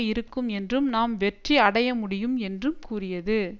இருக்கும் என்றும் நாம் வெற்றி அடையமுடியும் என்றும் கூறியது